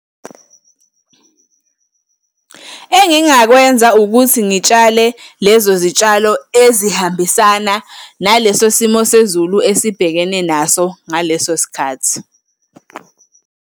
Engingakwenza ukuthi ngitshale lezo zitshalo ezihambisana naleso simo sezulu esibhekene naso ngaleso sikhathi.